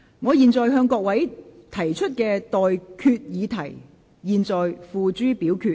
我現在向各位提出上述待決議題，付諸表決。